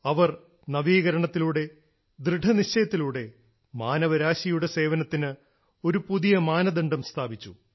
അവർ നവീകരണത്തിലൂടെ ദൃഢനിശ്ചയത്തിലൂടെ മാനവ രാശിയുടെ സേവനത്തിന് ഒരു പുതിയ മാനദണ്ഡം സ്ഥാപിച്ചു